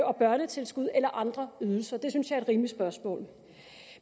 og børnetilskud eller andre ydelser det synes jeg er et rimeligt spørgsmål